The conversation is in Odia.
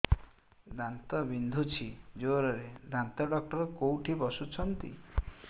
ଦାନ୍ତ ବିନ୍ଧୁଛି ଜୋରରେ ଦାନ୍ତ ଡକ୍ଟର କୋଉଠି ବସୁଛନ୍ତି